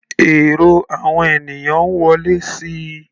Èrò àwọn ènìyàn ń wọlé síi.